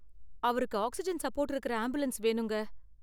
அவருக்கு oxygen support இருக்குற ambulance வேணுங்க.